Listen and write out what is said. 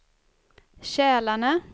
Kälarne